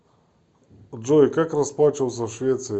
джой как расплачиваться в швеции